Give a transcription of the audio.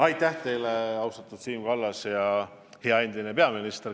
Aitäh teile, austatud Siim Kallas ja hea endine peaminister!